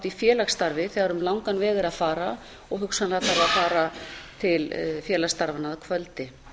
í félagsstarfi þegar um langan veg er að fara og hugsanlega farið að fara til félagsstarfanna að kvöldi